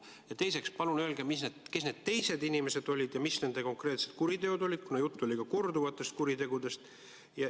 Ja teiseks, palun öelge, kes need teised inimesed olid ja mis nende konkreetsed kuriteod olid, kuna juttu oli korduvatest kuritegudest.